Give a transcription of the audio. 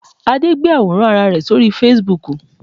Adé gbé àwòrán Ara rẹ̀ sí orí Fesibuúkù